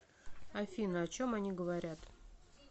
афина о чем они говорят